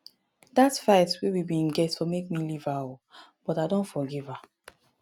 dat fight wey we bin get for make me leave her o but i don forgive her.